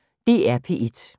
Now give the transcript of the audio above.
DR P1